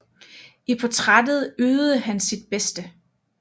I portrættet ydede han sit bedste